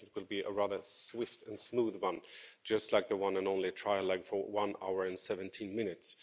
I think it will be a rather swift and smooth one just like the one and only trilogue, which lasted one hour and 17 minutes.